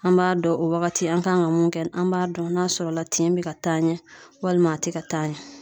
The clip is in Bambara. An b'a dɔn o wagati an kan ka mun kɛ an b'a dɔn n'a sɔrɔ la tin be ka taa ɲɛ walima a te ka taa ɲɛ